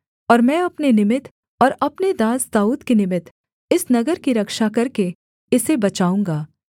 और मैं अपने निमित्त और अपने दास दाऊद के निमित्त इस नगर की रक्षा करके इसे बचाऊँगा